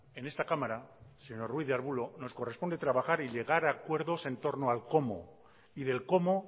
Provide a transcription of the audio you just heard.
en esta cámara señor ruiz de arbulo nos corresponde trabajar y llegar a acuerdos en torno al cómo y del cómo